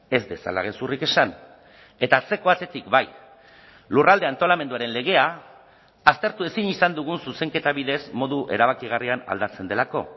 ez dezala gezurrik esan eta atzeko atetik bai lurralde antolamenduaren legea aztertu ezin izan dugun zuzenketa bidez modu erabakigarrian aldatzen delako